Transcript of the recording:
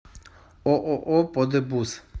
ооо подебус